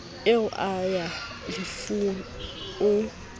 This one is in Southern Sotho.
eo a ya lefung o